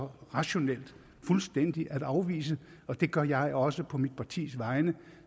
rationelt fuldstændig at afvise og det gør jeg også på mit partis vegne